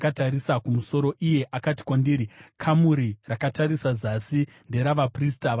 Iye akati kwandiri, “Kamuri rakatarisa zasi, nderavaprista vanochengeta temberi,